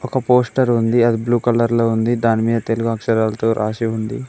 ఒక పోస్టర్ ఉంది అది బ్లూ కలర్ లో ఉంది దాని మీద తెలుగు అక్షరాలతో రాసి ఉంది.